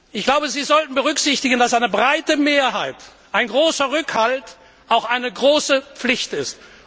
Ich glaube, Sie sollten berücksichtigen, dass eine breite Mehrheit, ein großer Rückhalt, auch eine große Pflicht ist.